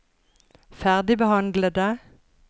ferdigbehandlede